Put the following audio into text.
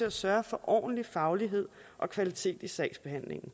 at sørge for ordentlig faglighed og kvalitet i sagsbehandlingen